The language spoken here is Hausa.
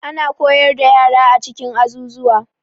Ana koyar da yara a cikin azuzuwa.